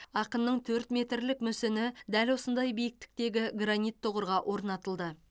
ақынның төрт метрлік мүсіні дәл осындай биіктіктегі гранит тұғырға орнатылды